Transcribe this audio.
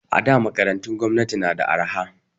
A da makarantun gwamnati na da arha